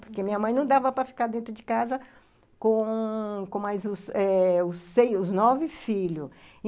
Porque minha mãe não dava para ficar dentro de casa com com mais os eh sei, nove filhos.